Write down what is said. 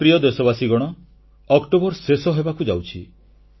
ମୋର ପ୍ରିୟ ଦେଶବାସୀଗଣ ଅକ୍ଟୋବର ଶେଷ ହେବାକୁ ଯାଉଛି